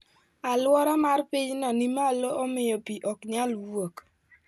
Aluora mar pinyno ni malo omiyo pii ok nyal wuok.